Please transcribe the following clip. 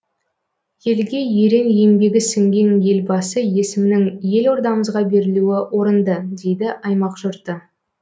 елге ерен еңбегі сіңген елбасы есімінің елордамызға берілуі орынды дейді аймақ жұрты